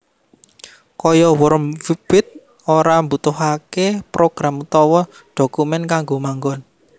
Kaya worm wbbit ora mbutuhaké program utawa dhokumèn kanggo manggon